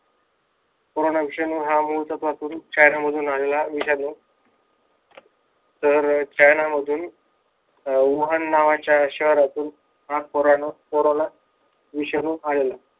Corona हा मुळचा विषाणू चायना मधून आलेला विषाणू तर चायना मधून वाहन नावाच्या शहरातून हा कोरोणू कोरोना विषाणू आला.